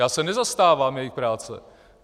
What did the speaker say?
Já se nezastávám jejich práce.